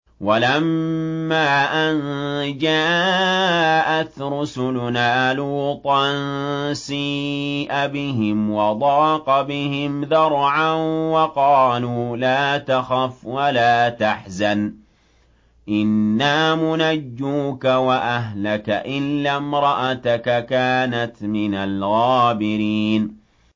وَلَمَّا أَن جَاءَتْ رُسُلُنَا لُوطًا سِيءَ بِهِمْ وَضَاقَ بِهِمْ ذَرْعًا وَقَالُوا لَا تَخَفْ وَلَا تَحْزَنْ ۖ إِنَّا مُنَجُّوكَ وَأَهْلَكَ إِلَّا امْرَأَتَكَ كَانَتْ مِنَ الْغَابِرِينَ